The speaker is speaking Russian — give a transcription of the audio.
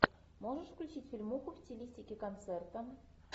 можешь включить фильмуху в стилистике концерта